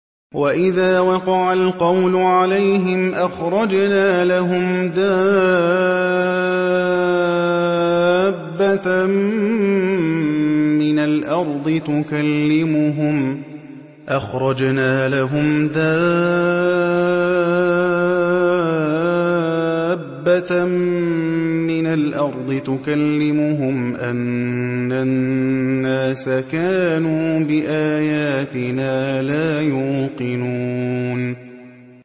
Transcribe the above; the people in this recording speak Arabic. ۞ وَإِذَا وَقَعَ الْقَوْلُ عَلَيْهِمْ أَخْرَجْنَا لَهُمْ دَابَّةً مِّنَ الْأَرْضِ تُكَلِّمُهُمْ أَنَّ النَّاسَ كَانُوا بِآيَاتِنَا لَا يُوقِنُونَ